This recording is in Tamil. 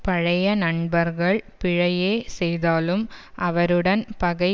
பழைய நண்பர்கள் பிழையே செய்தாலும் அவருடன் பகை